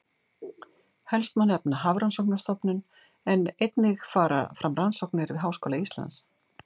Helst má nefna Hafrannsóknastofnun en einnig fara fram rannsóknir við Háskóla Íslands.